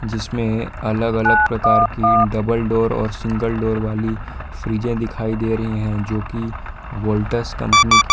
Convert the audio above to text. जिसमें अलग अलग प्रकार की डबल डोर और सिंगल डोर वाली फ्रीजें दिखाई दे रही हैं जो की वोल्टस कंपनी की--